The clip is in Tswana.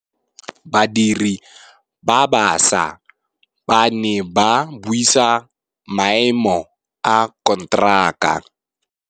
Badiri ba baša ba ne ba buisa maêmô a konteraka.